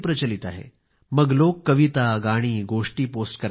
अलीकडे मग लोक गोष्टी कवितागाणी पोस्ट करायला लागले